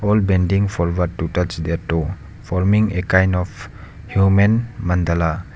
all bending for what to touch their toe forming a kind of human mandala.